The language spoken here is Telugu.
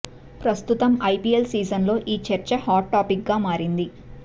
ప్రస్తుతం ఐపీఎల్ సీజన్ లో ఈ చర్చ హాట్ టాపిక్ గా మారింది